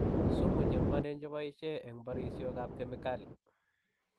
Sumu che ng"wanen che boishei eng bariosiekab kemikali.